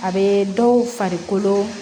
A bɛ dɔw farikolo